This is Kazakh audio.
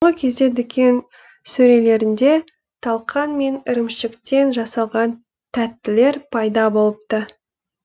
соңғы кезде дүкен сөрелерінде талқан мен ірімшіктен жасалған тәттілер пайда болыпты